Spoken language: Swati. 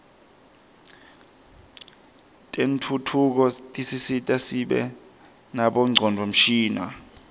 tentfutfuko tisisita sibe nabo ngcondvomshini